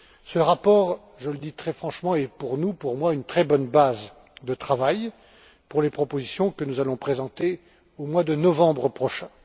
Ce rapport je le dis très franchement est pour moi une très bonne base de travail pour les propositions que nous allons présenter au mois de novembre prochain.